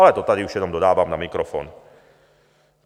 Ale to tady už jenom dodávám na mikrofon.